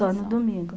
Só no domingo.